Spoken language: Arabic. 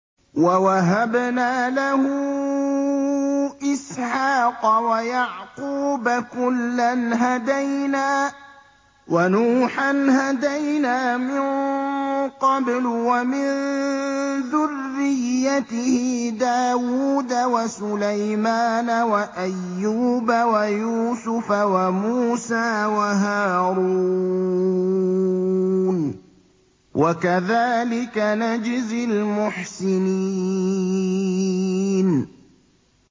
وَوَهَبْنَا لَهُ إِسْحَاقَ وَيَعْقُوبَ ۚ كُلًّا هَدَيْنَا ۚ وَنُوحًا هَدَيْنَا مِن قَبْلُ ۖ وَمِن ذُرِّيَّتِهِ دَاوُودَ وَسُلَيْمَانَ وَأَيُّوبَ وَيُوسُفَ وَمُوسَىٰ وَهَارُونَ ۚ وَكَذَٰلِكَ نَجْزِي الْمُحْسِنِينَ